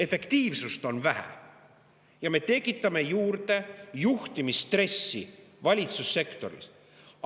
Efektiivsust on vähe ja me tekitame juurde juhtimisstressi valitsussektoris.